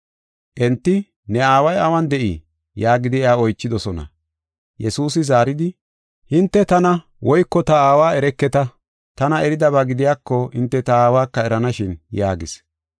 Enti, “Ne aaway awun de7ii?” yaagidi iya oychidosona. Yesuusi zaaridi, “Hinte tana woyko ta Aawa ereketa. Tana eridaba gidiyako, hinte ta Aawaka eranashin” yaagis.